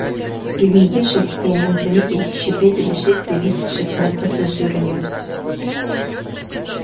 приглядевшись я мог заметить ещё пять или шесть зависших над пассажирами